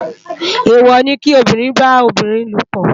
Éwò ni ki óbìrín bá óbìrín lópò